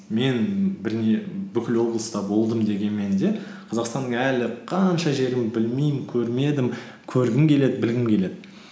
мен бүкіл облыста болдым дегенмен де қазақстанның әлі қанша жерін білмеймін көрмедім көргім келеді білгім келеді